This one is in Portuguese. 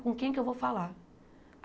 Com quem que eu vou falar?